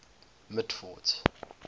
mitford's